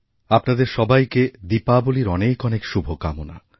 আপনাদের সবাইকে দীপাবলীর অনেক অনেকশুভকামনা